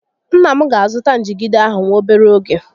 Nna m ga azụta njigide ahụ nwa obere ógè